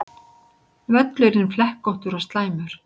Völlurinn flekkóttur og slæmur